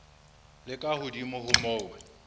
le ka hodimo ho moo